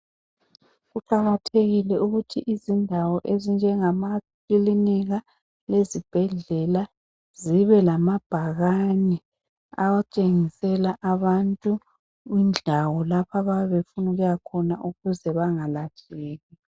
Kuqakathekile ukuthi izindawo ezinjengamakilinika lezibhedlela zibe lamabhakani atshengisela abantu indawo lapha abayabe befuna ukuya khona ukuze bengalahleki.